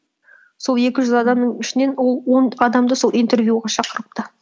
сол екі жүз адамның ішінен ол он адамды сол интервьюға шақырыпты